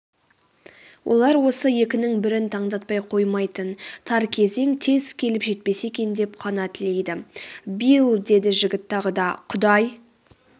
олар осы екінің бірін таңдатпай қоймайтын тар кезең тез келіп жетпесе екен деп қана тілейді.билл деді жігіт тағы да.құдай